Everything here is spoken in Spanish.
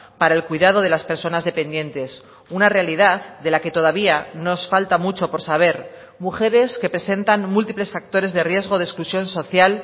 para el cuidado de las personas dependientes una realidad de la que todavía nos falta mucho por saber mujeres que presentan múltiples factores de riesgo de exclusión social